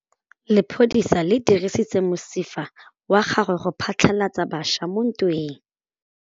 Lepodisa le dirisitse mosifa wa gagwe go phatlalatsa batšha mo ntweng.